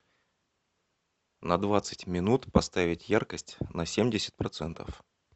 на двадцать минут поставить яркость на семьдесят процентов